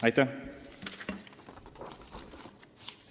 Aitäh!